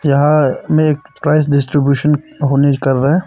यहां में एक प्राइज डिसटीब्यूशन होने कर रहे है।